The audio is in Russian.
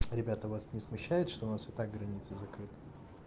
ребята вас не смущает что у нас и так граница закрыта